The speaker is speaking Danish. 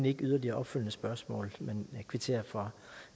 ikke yderligere opfølgende spørgsmål men jeg kvitterer for